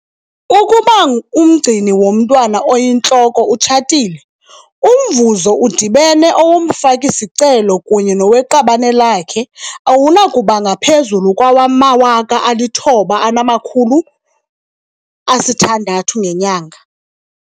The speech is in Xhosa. Ukuba umgcini womntwana oyintloko utshatile, umvuzo udibene owomfaki-sicelo kunye noweqabane lakhe awunakuba ngaphezu kwawama-R9 600 ngenyanga.